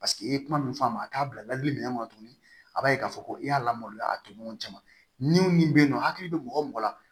Paseke i ye kuma min fɔ a ma a k'a bilali minɛn kɔnɔ tuguni a b'a ye k'a fɔ ko i y'a lamaloya a toɲɔgɔn cɛ ma ni min bɛ yen nɔ hakili bɛ mɔgɔ mɔgɔ la